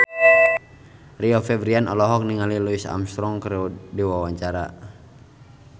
Rio Febrian olohok ningali Louis Armstrong keur diwawancara